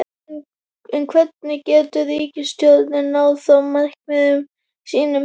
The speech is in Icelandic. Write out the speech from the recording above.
En hvernig getur ríkisstjórnin náð fram markmiðum sínum?